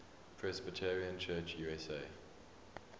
presbyterian church usa